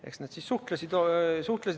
Eks nad suhtlesid omavahel.